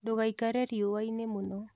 Ndũgaikare riũa-inĩ mũno